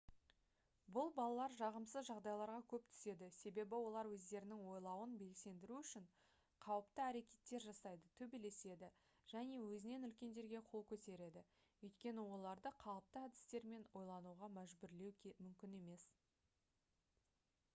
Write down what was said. бұл балалар жағымсыз жағдайларға көп түседі себебі олар өздерінің ойлауын белсендіру үшін қауіпті әрекеттер жасайды төбелеседі және өзінен үлкендерге қол көтереді өйткені оларды қалыпты әдістермен ойлануға мәжбүрлеу мүмкін емес